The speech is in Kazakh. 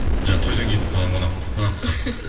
жаңа тойдан кетіп қалған қонаққа ұқсап